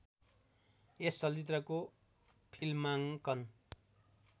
यस चलचित्रको फिल्माङ्कन